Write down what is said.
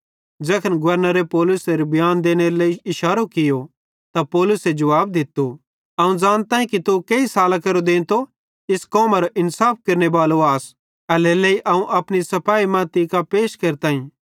ज़ैखन गवर्नरे पौलुसे बियांन देनेरे लेइ इशारो कियो त पौलुसे जुवाब दित्तो अवं ज़ानताईं कि तू केही सालां केरो देंतो इस कौमरो इन्साफ केरनेबालो आस एल्हेरेलेइ अवं अपनी सफाई तीं कां पैश केरताईं